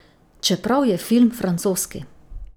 Čeprav je film francoski.